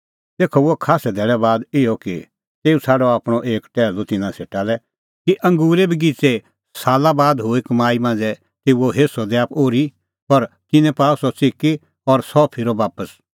तेखअ हुअ खास्सै धैल़ै बाद इहअ कि तेऊ छ़ाडअ आपणअ एक टैहलू तिन्नां सेटा लै कि अंगूरे बगिच़ेए साला बाद हुई कमाई मांझ़ै तेऊओ हेस्सअ दैआ ओर्ही पर तिन्नैं पाअ सह च़िकी और सह फिरअ बापस